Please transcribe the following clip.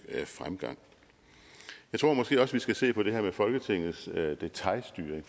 fremgang jeg tror måske også at vi skal se på det her med folketingets detailstyring